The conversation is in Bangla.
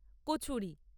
কচুরি